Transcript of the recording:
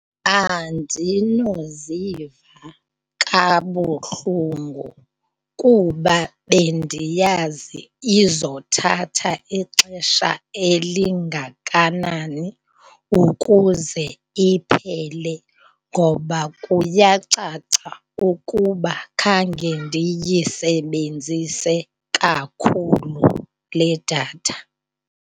Andinoziva kabuhlungu kuba bendiyazi izothatha ixesha elingakanani ukuze iphele ngoba kuyacaca ukuba khange ndiyisebenzise kakhulu le datha.